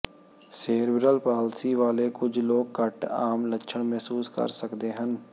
cerebral palsy ਵਾਲੇ ਕੁਝ ਲੋਕ ਘੱਟ ਆਮ ਲੱਛਣ ਮਹਿਸੂਸ ਕਰ ਸਕਦੇ ਹਨ